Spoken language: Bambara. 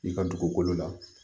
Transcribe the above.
I ka dugukolo la